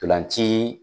Ntolan ci